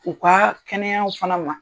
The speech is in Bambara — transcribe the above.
U ka kɛnɛyaw fana ma.